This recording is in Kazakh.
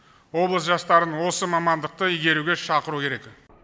облыс жастарын осы мамандықты игеруге шақыру керек